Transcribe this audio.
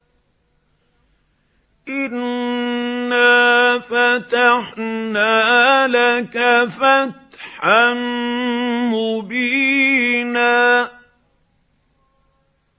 إِنَّا فَتَحْنَا لَكَ فَتْحًا مُّبِينًا